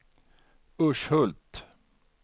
Urshult